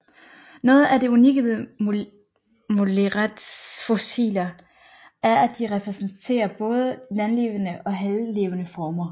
Noget af det unikke ved molerets fossiler er at de repræsenterer både landlevende og havlevende former